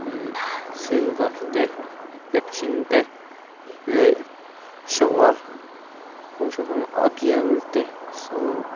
imhh silver te tap hring te leh shower rawng hrang hrang a bial te a sawl--